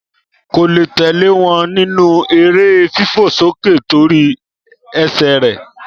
Kó le tẹlẹ wọn ní nù ere fifo soke to ri ese Re